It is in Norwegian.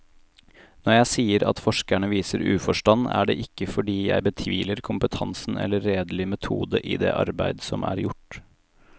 Når jeg sier at forskerne viser uforstand, er det ikke fordi jeg betviler kompetansen eller redelig metode i det arbeid som er gjort.